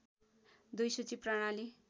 २ सूची प्रणाली